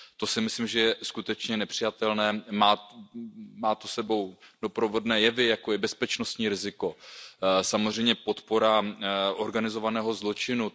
To si myslím, že je skutečně nepřijatelné. Nese to s sebou doprovodné jevy, jako je bezpečnostní riziko, samozřejmě podpora organizovaného zločinu.